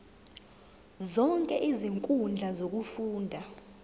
zonke izinkundla zokufunda